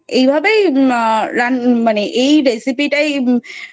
এই ভাবেই রান্না...মানে আহ এই recipe টাই